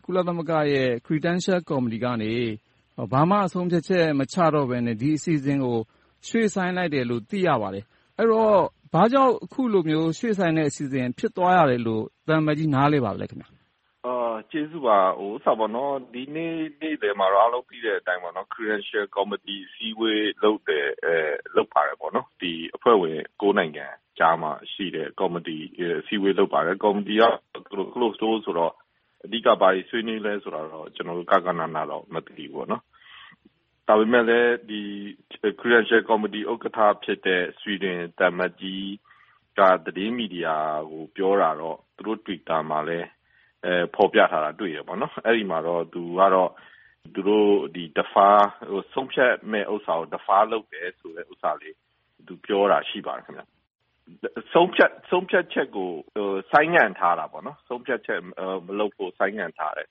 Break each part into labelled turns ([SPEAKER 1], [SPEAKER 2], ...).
[SPEAKER 1] - ကုလသမဂ္ဂရဲ့ Credential Committee ကနေ ဘာမှဆုံးဖြတ်ချက် မချတော့ဘဲနဲ့ ဒီအစီအစဉ်ကို ရွှေ့ဆိုင်းလိုက်တယ်လို့ သိရပါတယ်။ အဲဒီတော့ ဘာကြောင့် အခုလိုမျိုး ရွှေ့ဆိုင်းလိုက်တဲ့ အစီအစဉ် ဖြစ်သွားရတယ်လို့ သံအမတ်ကြီး နားလည်ပါသလဲ။
[SPEAKER 2] ကျေဇူးပါ။ ဒီနေ့နေ့လယ်မှာတော့ အားလုံးသိတဲ့အတိုင်း Credential Committee အစည်းအဝေး လုပ်ပါတယ်။ အဖွဲ့ဝင်တွေ နိုင်ငံကြားမှာ အစည်းအဝေး လုပ်ပါတယ်။ ကော်မတီက Closed Door ဆိုတော့ အဓိက ဘာတွေဆွေးနွေးသလဲဆိုတာကိုတော့ ကျနော်တို့ ဂဃနဏ တော့ မသိပါဘူး။ ဒါပေမဲ့လဲ Credential Committee ဥက္ကဋ္ဌ ဖြစ်တဲ့ ဆွီဒင်သံအမတ်ကြီးက သတင်းမီဒီယာကို ပြောတာတော့ သူတို့ Twitter မှာလည်း ဖော်ပြထားတာကိုတွေ့တယ်။ အဲဒီမှာတော့ သူတို့ ဆုံးဖြတ်မယ့်ဟာကို Defer လုပ်ထားတယ်ဆိုတာကို သူပြောတာ ရှိပါတယ်။ ဆုံးဖြတ်ချက်ကို ဆိုင်းငံ့ထားတာပေါ့။ ဆုံးဖြတ်ချက်မလုပ်ဖို့ ဆိုင်းငံ့ထားတယ်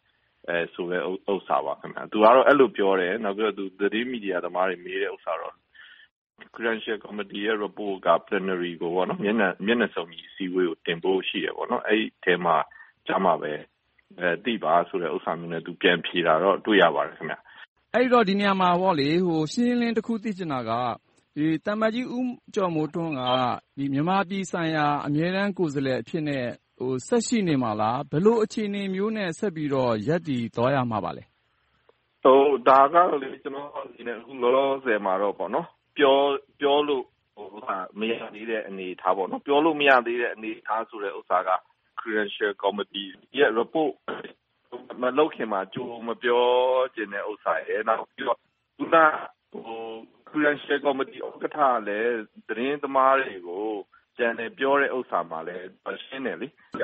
[SPEAKER 2] ဆိုတဲ့ဟာပါ။ သူကတော့ အဲဒီလိုပြောတယ်။ နောက်ပြီးတော့ သတင်းမီဒီယာသမားတွေ မေးတဲ့ဥစ္စာကတော့ Credential Committee ရဲ့ Report ကတော့ ဇန်နဝါရီ မျက်နှာစုံညီ အစည်းအဝေးကို တင်ဖို့ရှိတယ်။ အဲဒီအထဲမှာ အဲဒီအခါကျမှ သိပါဆိုတာမျိုးနဲ့ ပြန်ဖြေတာကိုတော့ တွေ့ရပါတယ်။
[SPEAKER 1] အဲဒီတော့ ဒီနေရာမှာ ရှင်းရှင်းလင်းလင်း တခုသိချင်တာက သံအမတ်ကြီး ဦးကျော်မိုးထွန်းက မြန်မာပြည်ဆိုင်ရာ အမြဲတမ်းကိုယ်စားလှယ် အဖြစ်နဲ့ ဆက်ရှိနေမှာလား။ ဘယ်လိုအခြေအနေမျိုးနဲ့ ဆက်ပြီးတော့ ရပ်တည်သွားမလဲ။
[SPEAKER 2] ဒါကတော့ ကျနော့်အနေနဲ့ အခုလောလောဆယ်မှာတော့ ပြောလို့မရသေးတဲ့ အနေအထား။ ပြောလို့မရသေးတဲ့ဟာက Credential Committee ရဲ့ Report မလုပ်ခင်မှာ ကြိုမပြောချင်တဲ့ဥစ္စာရယ်၊ နောက်တခုက အခုန Credential Committee ဥက္ကဋ္ဌလည်း သတင်းသမားတွေကို ပြန်လည်ပြောတဲ့ဥစ္စာမှာလည်း ရှင်းတယ်။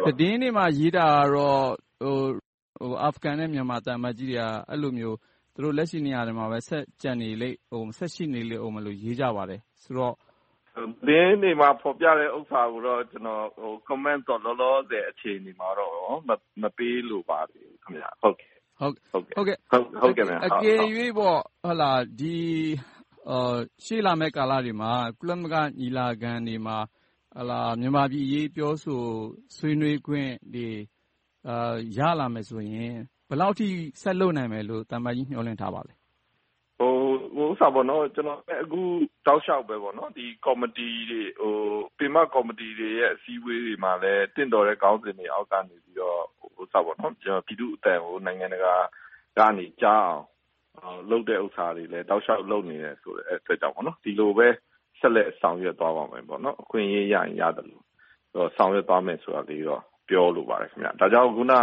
[SPEAKER 1] သတင်းတွေမှာ ရေးထားတာကတော့ အာဖရိဂန်နဲ့ မြန်မာသံအမတ်ကြီးတွေက အဲဒီလိုမျိုး လက်ရှိနေရာတွေမှာပဲ ဆက်ကျန်ရှိနေအုံးမယ်လို့ ရေးကြပါတယ်ဆိုတော့။
[SPEAKER 2] သတင်းတွေမှာ ဖော်ပြတဲ့ ဥစ္စာတွေကိုတော့ Comment တော့ အခုလောလောဆယ်မှာတော့၊ အချိန်မှာတော့ မပေးလိုပါသေးပါဘူး။
[SPEAKER 1] အကယ်၍ ရှေ့လာမယ့်ကာလတွေမှာ ကုလသမဂ္ဂညီလာခံတွေမှာ မြန်မာပြည်အရေး ပြောဆိုဆွေးနွေးခွင့်တွေ ရလာမယ်ဆိုရင် ဘယ်လောက်အထိ ဆက်လုပ်နိုင်မယ်လို့ သံအမတ်ကြီး မျှော်လင့်ထားပါသလဲ။
[SPEAKER 2] ကျနော် အခုတောက်လျှောက်ပဲ ပင်မကော်မတီတွေ အစည်းအဝေးတွေမှာလည်း သင့်တော်တဲ့ ခေါင်းစဉ်တွေအောက်ကနေပြီး ပြည်သူ့အသံကို နိုင်ငံတကာကနေ ကြားအောင် လုပ်တဲ့ဟာတွေလဲ လုပ်နေတယ်ဆိုတာကို ဆက်လက်ဆောင်ရွက်သွားပါမယ်။ အခွင့်ရေးရရင် ရသလို၊ ဆောင်ရွက်သွားမယ်လို့ ပြောလိုပါတယ်။ ဒါကြောင့် အခုန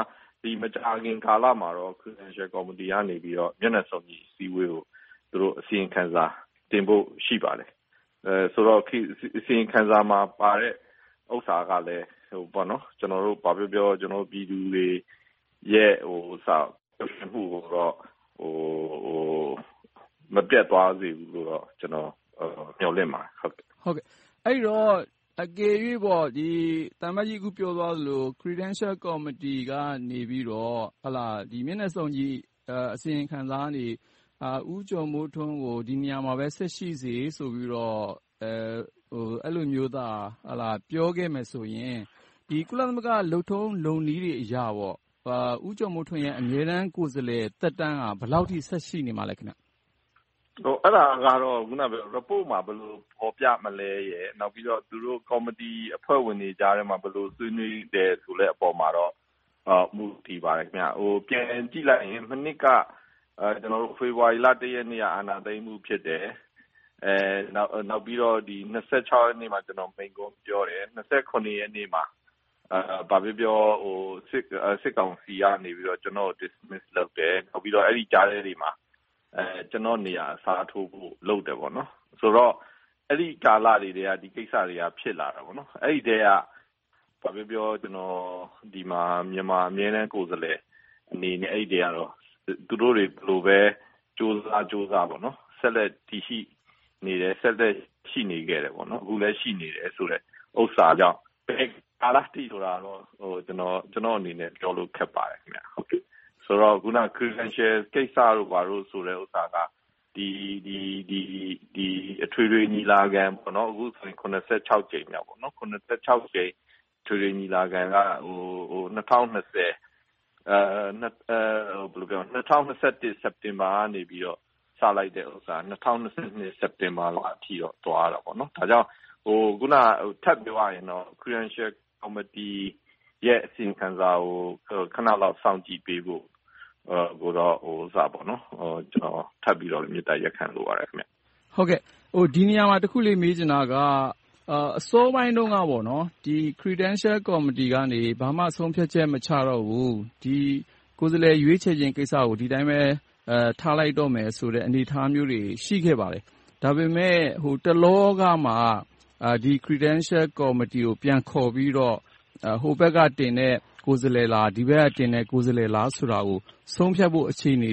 [SPEAKER 2] မကြာခင်ကာလမှာတော့ Credential Committee ကတော့ မျက်နှာစုံညီ အစည်းအဝေးကို အစီရင်ခံစာတင်ဖို့ ရှိပါတယ်။ ဆိုတော့ အစီရင်ခံစာမှာပါတဲ့ ဥစ္စာကလည်း ကျနော်တို့ ဘာပြောပြော ပြည်သူတွေရဲ့ ပျော်ရွှင်မှုကိုတော့ မပျက်သွားစေဘူးလိုတော့ ကျနော် မျှော်လင့်ပါတယ်။
[SPEAKER 1] အဲဒီတော့ အကယ်၍ သံအမတ်ကြီး အခုပြောသွားသလို၊ Credential Committee ကနေပြီးတော့ မျက်နှာစုံညီအစီရင်ခံစာနေ ဦးကျော်မိုးထွန်းကို ဒီနေရာမှာပဲ ဆက်ပြီးတော့ အဲဒီလိုမျိုးသာ ပြောခဲ့မယ်ဆိုရင် ဒီ ကုလသမဂ္ဂ လုပ်ထုံးလုပ်နည်းအရ ဦးကျော်မိုးထွန်းရဲ့ အမြဲတမ်းကိုယ်စားလှယ် သက်တမ်းက ဘယ်လောက်အထိ ဆက်ရှိနေမှာလဲ။
[SPEAKER 2] အဲဒါကတော့ Report မှာ ဘယ်လိုဖော်ပြမလဲရယ်။ နောက်ပြီးတော သူတို့ကော်မတီအဖွဲ့ဝင်တွေကြားထဲမှာ ဘယ်လိုဆွေးနွေးမလဲဆိုတဲ့ အပေါ်မှာတော့ မူတည်ပါတယ်။ ပြန်ကြည့်လိုက်ရင် မနှစ်က ဖေဖေါ်ဝါရီလ ရက်နေ့က အာဏာသိမ်းမှု ဖြစ်တယ်။ နောက်ပြီးတော့ ရက်နေ့မှာ ကျနော် မိန့်ခွန်းပြောတယ်။ ရက်နေ့မှာ ဘာပဲပြောပြော စစ်ကောင်စီကနေ ကျနော့်ကို Dismiss လုပ်တယ်။ နောက်ပြီးတော့ ဒီကြားထဲမှာ ကျနော့်နေရာအစားထိုးဖို့ လုပ်တယ်။ ဆိုတော့ အဲဒီကာလတွေကတည်းက ဒီကိစ္စတွေက ဖြစ်လာတယ်။ အဲဒီထဲက ဘာပဲပြောပြော ကျနော် ဒီမှာ မြန်မာအမြဲတမ်းကိုယ်စားလှယ်အနေနဲ့ အဲဒီထဲက သူတို့တွေ ဘယ်လိုပဲကြိုးစားကြိုးစား ဆက်လက်တည်ရှိနေတယ်။ ဆက်လက်ရှိနေခဲ့တယ်။ အခုလည်း ရှိနေတယ်ဆိုတဲ့ဥစ္စာကြောင့် ဘယ်ကာလအထိလဲဆိုတာတော့ ကျနော့်အနေနဲ့ ခက်ပါတယ်။ ဆိုတော့ အခုန Credential ကိစ္စတို့ ဘာတို့ဆိုတဲ့ကိစ္စက အထွေထွေညီလာခံ - အခုဆိုရင် ကြိမ်မြောက် အထွေထွေညီလာခံက ၂၀၂၁ စက်တင်ဘာကနေ စလိုက်တာ ၂၀၂၂ စက်တင်ဘာလလောက်အထိ သွားတယ်။ ဒါကြောင့် ထပ်ပြောရရင်တော့ Credential Committee ရဲ့ အစီရင်ခံစာကို ခဏလောက် စောင့်ကြည့်ပေးဖို့ ကျနော် ထပ်ပြီးတော့ မေတ္တာရပ်ခံလိုပါတယ်။
[SPEAKER 1] ဒီနေရာမှာ တခုလေး မေးချင်တာက အစောပိုင်းတုန်းက Credential Committee ကနေ ဘာမှ ဆုံးဖြတ်ချက် မချတော့ဘူး၊ ဒီကိုယ်စားလှယ် ရွေးချယ်ခြင်းကိစ္စကို ဒီအတိုင်းပဲ ထားလိုက်တော့မယ်ဆိုတဲ့ အနေအထားမျိုးတွေ ရှိခဲ့ပါတယ်။ ဒါပေမဲ့ တလောကမှ Credential Committee ကို ပြန်ခေါ်ပြီးတော့ ဟိုးဘက်ကတင်တဲ့ ကိုယ်စားလှယ်လား။ ဒီဘက်ကင်တဲ့ ကိုယ်စားလှယ်လား ဆိုတာကို ဆုံးဖြတ်ဖို့ အခြေအနေ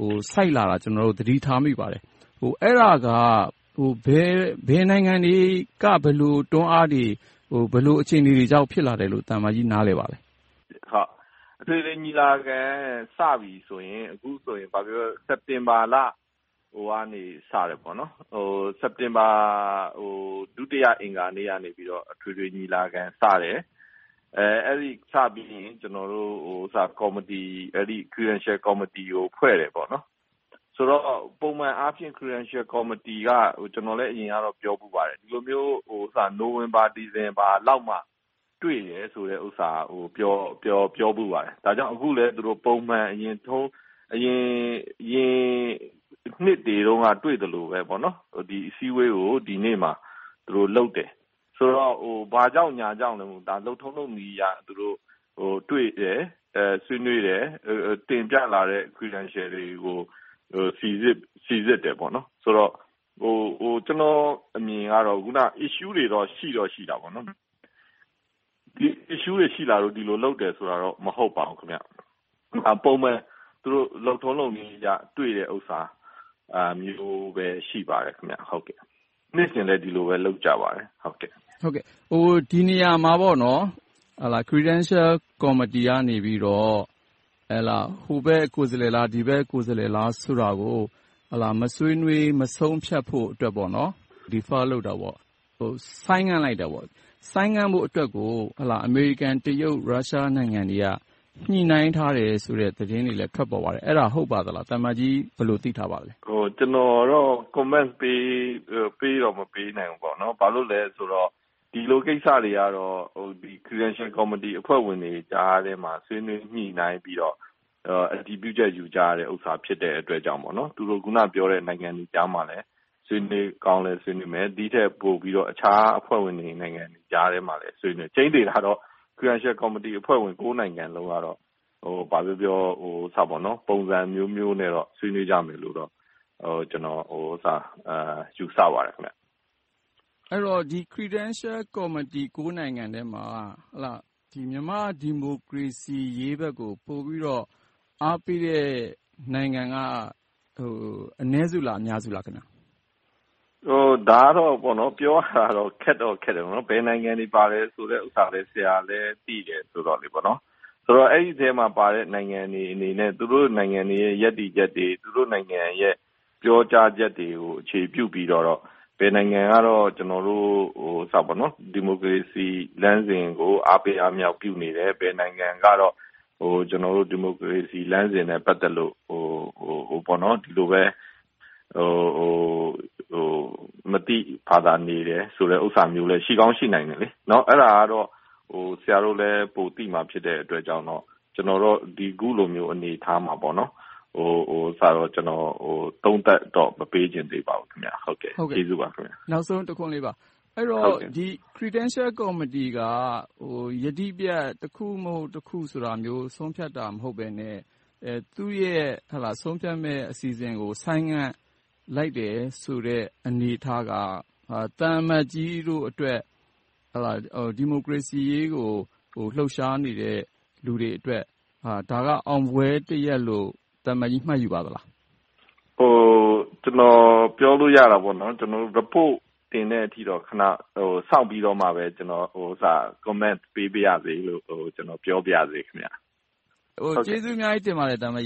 [SPEAKER 1] ကို ဆိုက်လာတာကို ကျနော်တို့ သတိထားမိပါတယ်။ အဲဒါက ဘယ်နိုင်ငံတွေက ဘယ်လိုတွန်းအားတွေ၊ ဘယ်လိုအခြေအနေတွေကြောင့် ဖြစ်လာတယ်လို့ သံအမတ်ကြီး ပြောနိုင်ပါသလဲ။
[SPEAKER 2] အထွေထွေညီလာခံ စပြီဆိုရင် အခုဆိုရင် ဘာပဲပြောပြော စက်တင်ဘာလနေ စတယ်။ စက်တင်ဘာ ဒုတိယအင်္ဂါနေ့ကနေ အထွေထွေညီလာခံ စတယ်။ အဲဒီလိုစပြီးရင် ကျနော်တို့ Credential Committee ကို ဖွဲ့စည်းတယ်။ ဆိုတော့ ပုံမှန်အားဖြင့် Credential Committee က ကျနော် အရင်ကတော့ ပြောဖူးပါတယ်။ ဒီလိုမျိုး နိုဝင်ဘာ၊ ဒီဇင်ဘာလလောက်မှာမှ တွေ့တယ်ဆိုတာကို ပြောဖူးပါတယ်။ အခုလဲ သူတို့ ပုံမှန် အရင်နှစ်တွေတုန်းက တွေ့သလိုပဲ၊ ဒီအစည်းအဝေးကို ဒီနေ့မှာ သူတို့လုပ်တယ်။ ဆိုတော့ ဘာကြောင့်ညာကြောင့် မဟုတ်ဘဲ၊ လုပ်ထုံးလုပ်နည်းအရ တွေ့တယ်၊ ဆွေးနွေးတယ်၊ တင်ပြလာတဲ့ Credentials တွေကို စီစစ်တယ်။ ဆိုတော့ ကျနော့်အမြင်ကတော့ Issues တွေတော့ ရှိတော့ရှိတာပေါ့။ Issues တွေ ရှိလာလို့ ဒီလိုလုပ်တယ်ဆိုတာတော့ မဟုတ်ပါဘူး။ ပုံမှန်လုပ်ထုံးလုပ်နည်းအရ တွေ့တယ်ဥစ္စာမျိုးပဲ ဖြစ်ပါတယ်။ နှစ်စဉ်လည်း ဒီလိုပဲ လုပ်ကြပါတယ်။
[SPEAKER 1] ဒီနေရာမှာ Credential Committee ကနေ ဟိုဘက်ကိုယ်စားလှယ်လား၊ ဒီဘက်ကိုယ်စားလှယ်လား ဆိုတာကို မဆွေးနွေး၊ မဆုံးဖြတ်ဖို့ Defer လုပ်တာ၊ ဆိုင်းငံ့လိုက်တာ။ ဆိုင်းငံ့ဖို့အတွက်ကို အမေရိကန်၊ တရုတ်၊ ရုရှားနိုင်ငံတွေက ညှိနှိုင်းထားတယ်ဆိုတဲ့ သတင်းတွေလည်း ထွက်ပေါ်ပါတယ်။ အဲဒါ ဟုတ်ပါသလား။ သံအမတ်ကြီး ဘယ်လို သိထားပါသလဲ။
[SPEAKER 2] ကျနော်ကတော့ Comment တော့ မပေးနိုင်ဘူး။ ဘာကြောင့်လဲဆိုတော့ ဒီလိုကိစ္စတွေက Credential Committee အဖွဲ့ဝင်တွေကြားထဲမှာ ဆွေးနွေးညှိနှိုင်းပြီးတော့ အတည်ပြုချက်ယူကြတဲ့ဟာ ဖြစ်တဲ့အတွက်ကြောင့် သူတို့ အခုနပြောတဲ့ နိုင်ငံတွေကြားမှာလည်း ဆွေးနွေးကောင်းလည်း ဆွေးနွေးမယ်။ ဒီထက်ပိုပြီးတော့လည်း အခြားအဖွဲ့ဝင်နိုင်ငံတွေကြားထဲမှာလည်း ဆွေးနွေးဖြစ်တယ်။ ကြိမ်းသေတာကတော့ Credential Committee အဖွဲ့ဝင် နိုင်ငံလုံးကတော့ ဘာပဲပြောပြော ပုံစံအမျိုးမျိုးနဲ့တော့ ဆွေးနွေးကြမယ်လို့တော့ ကျနော် ယူဆပါတယ်။
[SPEAKER 1] အဲဒီတော့ Credential Committee အဖွဲ့ဝင် နိုင်ငံထဲမှာ မြန်မာ့ဒီမိုကရေစီရေးဘက်ကို ပိုပြီးတော့ အားပေးတဲ့နိုင်ငံက အနည်းစုလား၊ အများစုလား။
[SPEAKER 2] ဒါကတော့ ပြောရတာတော့ ခက်တော့ခက်တယ်။ ဘယ်နိုင်ငံတွေပါတယ်ဆိုတဲ့ဟာလည်း ဆရာလည်း သိတယ်ဆိုတော့ ဆိုတော့ အဲဒီထဲမှာပါတဲ့ နိုင်ငံတွေအနေနဲ့ သူတို့နိုင်ငံတွေရဲ့ ရပ်တည်ချက်တွေ၊ သူတို့နိုင်ငံတွေရဲ့ ပြောကြားချက်တွေကို အခြေပြုပြီးတော့ ဘယ်နိုင်ငံကတော့ ကျနော်တို့ ဒီမိုကရေစီလမ်းစဉ်ကို အားပေးအားမြှောက်ပြုနေတဲ့ ဘယ်နိုင်ငံကတော့ ကျနော်တို့ ဒီမိုကရေစီလမ်းစဉ်နဲ့ ပတ်သက်လို့ ဒီလိုပဲ မသိဘာသာနေတယ်ဆိုတဲ့ ဥစ္စာမျိုးလည်း ရှိကောင်းရှိနိုင်တယ်။ အဲဒါကတော့ ဆရာတို့လည်း ပိုသိမှာ ဖြစ်တဲ့အတွက်ကြောင့် ကျနော်တော့ အခုလို အနေအထားမှာ သုံးသပ်တော့ မပေးချင်သေးပါဘူး။ ကျေးဇူးပါ။
[SPEAKER 1] နောက်ဆုံးတခွန်းလေးပါ။ အဲဒီတော့ Credential Committee က ယတိပြတ်၊ တခုမဟုတ်တခု ဆိုတာမျိုး ဆုံးဖြတ်တာ မဟုတ်ဘဲနဲ့ သူ့ရဲ့ ဆုံးဖြတ်မယ့်အစီအစဉ်ကို ဆိုင်းငံ့လိုက်တယ်ဆိုတဲ့ အနေအထားက သံအမတ်ကြီးတို့အတွက် ဒီမိုကရေစီရေးကို လှုပ်ရှားနေတဲ့ လူတွေအတွက် ဒါက အောင်ပွဲတရပ်လို့ သံအမတ်ကြီး မှတ်ယူပါသလား။
[SPEAKER 2] ကျနော် ပြောလို့ရတာက Report တင်တဲ့အထိတော့ ခဏစောင့်ပြီးတော့မှပဲ ကျနော် Comment ပေးပါရစေလို့ ပြောပါရေ။
[SPEAKER 1] ကျေးဇူးအများကြီးတင်ပါတယ် သံအမတ်ကြီ